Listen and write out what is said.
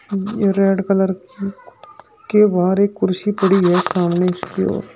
ये red colour की के बाहर कुर्सी पड़ी है सामने की ओर।